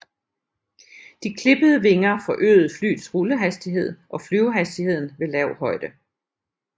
De klippede vinger forøgede flyets rullehastighed og flyvehastigheden ved lav højde